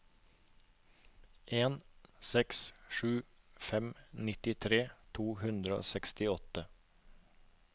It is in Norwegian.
en seks sju fem nittitre to hundre og sekstiåtte